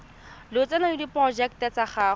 lotseno le diporojeke tsa go